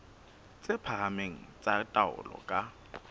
tse phahameng tsa taolo ka